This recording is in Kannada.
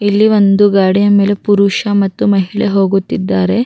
ಈ ಮಹಿಳೆ ಸೀರೆಯನ್ನು ಹಾಕಿಕೊಂಡಿದ್ದಾಲೇ ಇಲ್ಲಿ ಮರಗಳು ಕೂಡ ಇ--